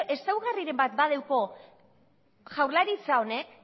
ezaugarriren bat badeuko jaurlaritza honek